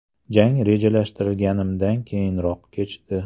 Jang rejalashtirganimdan qiyinroq kechdi.